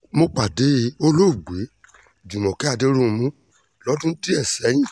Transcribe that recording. mo pàdé olóògbé júmọ́kẹ́ adẹ̀rùnmù lọ́dún díẹ̀ sẹ́yìn